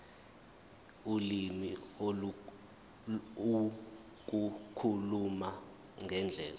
ulimi ukukhuluma ngendlela